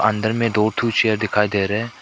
अंदर में ठो चेयर दिखाई दे रहे--